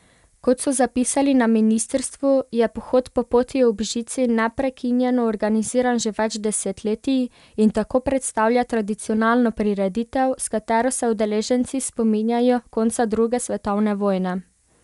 Kot so zapisali na ministrstvu, je pohod po Poti ob žici neprekinjeno organiziran že več desetletij in tako predstavlja tradicionalno prireditev, s katero se udeleženci spominjajo konca druge svetovne vojne.